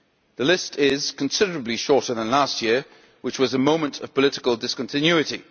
The list is considerably shorter than last year which was a moment of political discontinuity.